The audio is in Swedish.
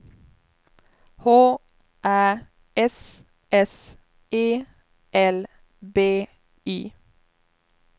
H Ä S S E L B Y